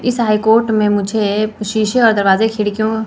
इस high court में मुझे शीशे और दरवाजे खिड़कियों--